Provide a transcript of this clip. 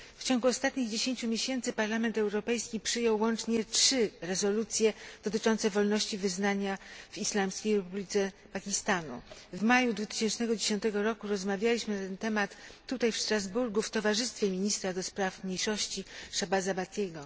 W ciągu ostatnich 10 miesięcy Parlament Europejski przyjął łącznie trzy rezolucje dotyczące wolności wyznania w Islamskiej Republice Pakistanu. W maju 2010 roku rozmawialiśmy na ten temat tutaj w Strasburgu w towarzystwie ministra do spraw mniejszości Shahbaza Bhattiego.